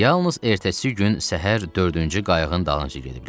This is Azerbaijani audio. Yalnız ertəsi gün səhər dördüncü qayığın dalınca gediblər.